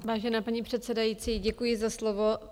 Vážená paní předsedající, děkuji za slovo.